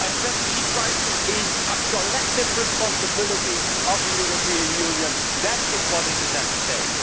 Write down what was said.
A refugee crisis is the collective responsibility of the European Union, that is what is at stake.